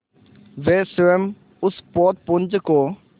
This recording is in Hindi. वे स्वयं उस पोतपुंज को